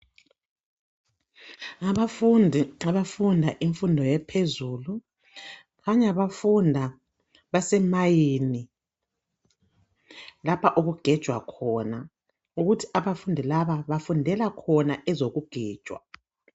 Ngabafundi abanda imfundo ephezulu .Kukhanya bafunda base mine .Lapha okugejwa khona .Ukuthi abafundi laba bafundela khona ezoku gejwa .